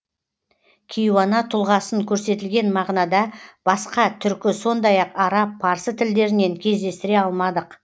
кейуана тұлғасын көрсетілген мағынада басқа түркі сондай ақ араб парсы тілдерінен кездестіре алмадық